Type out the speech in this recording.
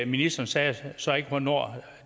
ministeren sagde så ikke hvornår